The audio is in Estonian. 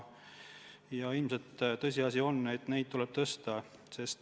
Ilmselt on tõsiasi, et neid tasusid tuleb tõsta.